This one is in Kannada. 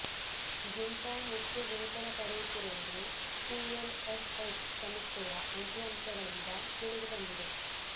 ಗಿಂತ ಹೆಚ್ಚು ವೇತನ ಪಡೆಯುತ್ತಿರುವುದು ಪಿಎಲ್ ಎಫ್ಎಸ್ ಸಮೀಕ್ಷೆಯ ಅಂಕಿಅಂಶಗಳಿಂದ ತಿಳಿದುಬಂದಿದೆ